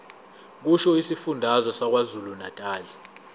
kusho isifundazwe sakwazulunatali